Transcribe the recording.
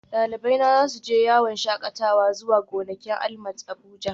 Dalibaina za su je yawon shakatawa zuwa gonakin ALMAT Abuja